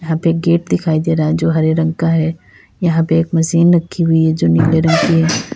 एक गेट दिखाई दे रहा है जो हरे रंग का है यहां पे एक मशीन रखी हुई है जो नीले रंग की है।